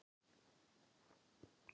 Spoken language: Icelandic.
Geirlaugur, hvaða mánaðardagur er í dag?